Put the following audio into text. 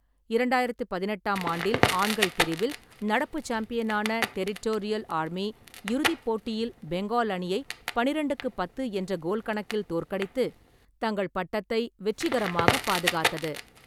இரண்டாயிரத்தி பதினெட்டாம் ஆண்டில், ஆண்கள் பிரிவில், நடப்பு சாம்பியனான டெரிட்டோரியல் ஆர்மி இறுதிப் போட்டியில் பெங்கால் அணியை பன்னிரெண்டுக்கு பத்து என்ற கோல் கணக்கில் தோற்கடித்து தங்கள் பட்டத்தை வெற்றிகரமாக பாதுகாத்தது.